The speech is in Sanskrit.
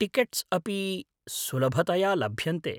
टिकेट्स् अपि सुलभतया लभ्यन्ते।